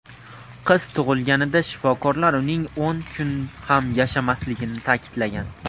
Qiz tug‘ilganida shifokorlar uning o‘n kun ham yashamasligini ta’kidlagan.